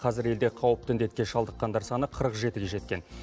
қазір елде қауіпті індетке шалдыққандар саны қырық жетіге жеткен